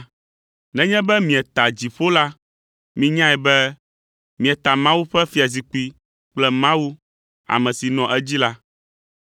Nenye be mieta dziƒo la, minyae be mieta Mawu ƒe fiazikpui kple Mawu, ame si nɔa edzi la.